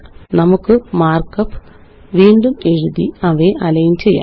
നമുക്ക് മാര്ക്കപ്പ് വീണ്ടുമെഴുതി അവയെ അലൈന് ചെയ്യാം